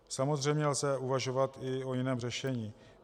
Samozřejmě lze uvažovat i o jiném řešení.